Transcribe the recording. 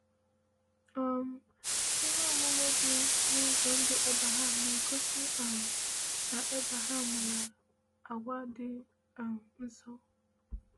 um Ihe omume dị n’ụzọ ndụ Abraham na-egosi um na Abraham nwere àgwà dị um nsọ.